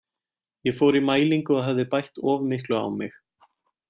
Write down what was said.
Ég fór í mælingu og hafði bætt of miklu á mig.